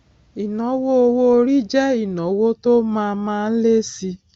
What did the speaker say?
ìnáwó owó orí jẹ ìnáwó tó má má ń lé síi